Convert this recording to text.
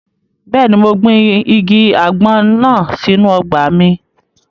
Bẹ́ẹ̀ni, mo gbin igi àgbọn náà sínu ọgbà mi